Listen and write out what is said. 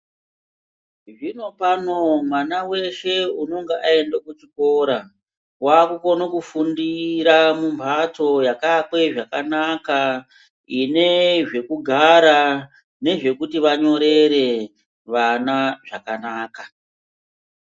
Zvino pano mwana weshe unenge waenda kuchikoro wakukone kufundira mumhatso yakavakwe zvakanaka inezvekugara nezvekuti vanyorere, vana zvakanaka